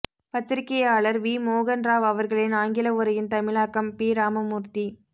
பத்திரிக்கையாளர் வி மோகன் ராவ் அவர்களின் ஆங்கில உரையின் தமிழாக்கம் பி ராமமூர்த்தி